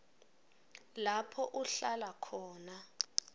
lapho uhlala khona